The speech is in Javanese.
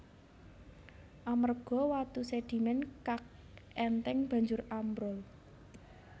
Amerga watu sedimen kag enteng banjur ambrol